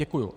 Děkuji.